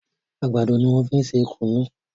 Àgbàdo ní wón fín ṣe kunu.